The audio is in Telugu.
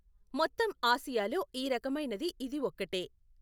మొత్తం ఆసియాలో ఈ రకమైనది ఇది ఒక్కటే.